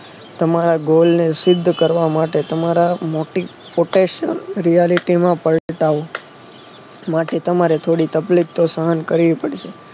તમારા goal ને સિદ્ધ કરવા માટે તમારા મોટી quotational reality માં પલટાવું માથે તમારે થોડી તકલીફ તો સહન કરવી પડશે